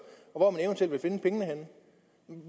og